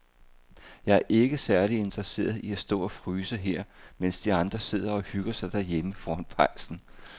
Jeg er ikke særlig interesseret i at stå og fryse her, mens de andre sidder og hygger sig derhjemme foran pejsen.